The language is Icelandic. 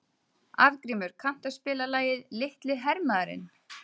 Arngrímur, kanntu að spila lagið „Litli hermaðurinn“?